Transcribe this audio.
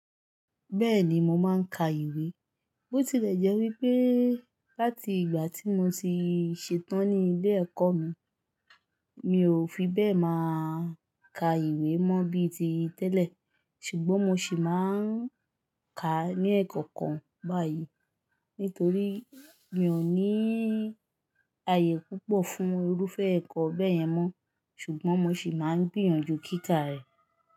Bẹ́ẹ̀ni mo máa ń ka ìwé, bó tilẹ̀ jẹ́ wípé láti ìgbà tí mo ti ṣetán ní ilé ẹ̀kọ́ mi, mi ò fi bẹ́ẹ̀ máa ka ìwé mọ́ bí i ti tẹ́lẹ̀, ṣùgbọ́n mo ṣì máa ń ka ní ẹ̀kọ̀kan báyìí. Nítorí mi ò ní ààyè púpọ̀ fún irúfẹ́ ẹ̀kọ́ bẹ́ẹ̀ yẹn mọ́, ṣùgbọ́n mo ṣì máa ń gbìyànjú kíkà rẹ̀.